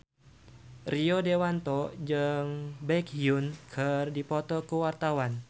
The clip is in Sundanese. Rio Dewanto jeung Baekhyun keur dipoto ku wartawan